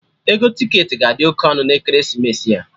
Ego ticketị ga-adi oké ọnụ na ekeresimesi a